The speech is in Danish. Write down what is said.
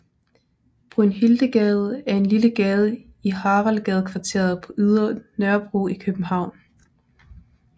Brynhildegade er en lille gade i Haraldsgadekvarteret på Ydre Nørrebro i København